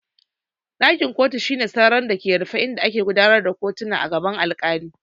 Ɗakin kotu shine sarari da ke rufe inda ake gudanar da kotuna a gaban alkali.